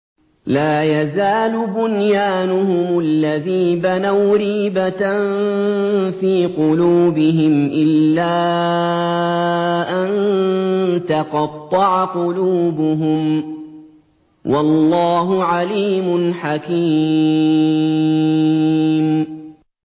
لَا يَزَالُ بُنْيَانُهُمُ الَّذِي بَنَوْا رِيبَةً فِي قُلُوبِهِمْ إِلَّا أَن تَقَطَّعَ قُلُوبُهُمْ ۗ وَاللَّهُ عَلِيمٌ حَكِيمٌ